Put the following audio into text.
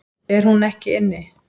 Er hún ekki inni?